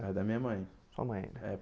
é da minha mãe. Sua mãe né